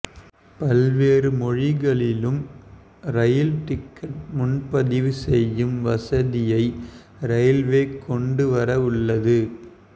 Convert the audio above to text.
பல்வேறு மொழிகளிலும் rail ticket முன்பதிவு செய்யும் வசதியை ரயில்வே கொண்டுவர உள்ளது